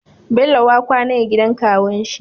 Bello wa kwAna ya gidan kawun shi